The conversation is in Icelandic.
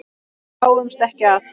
Við dáumst ekki að